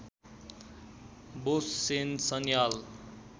Bose Sen Sanyal